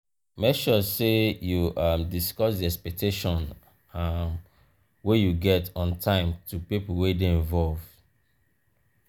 make sure say you um discuss di expectation um wey you get on time to pipo wey de involve